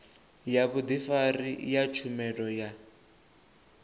ya vhudifari ya tshumelo ya